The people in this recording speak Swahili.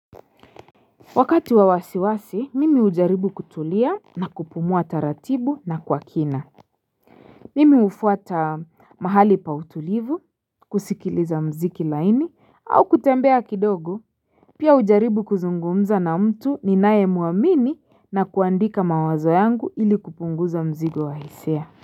Wakati wa wasiwasi mimi hujaribu kutulia na kupumua taratibu na kwa kina Mimi hufuata mahali pa utulivu kusikiliza mziki laini au kutembea kidogo Pia hujaribu kuzungumza na mtu ninayemwamini na kuandika mawazo yangu ili kupunguza mzigo wa hisia.